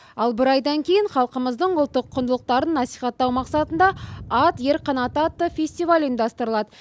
ал бір айдан кейін халқымыздың ұлттық құндылықтарын насихаттау мақсатында ат ер қанаты атты фестиваль ұйымдастырылады